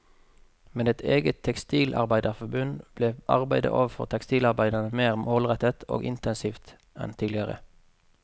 Med et eget tekstilarbeiderforbund ble arbeidet overfor tekstilarbeiderne mer målrettet og intensivt enn tidligere.